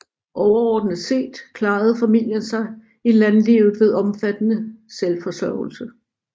Overordnet set klarede familien sit i landlivet ved omfattende selvforsørgelse